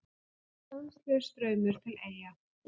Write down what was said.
Stanslaus straumur til Eyja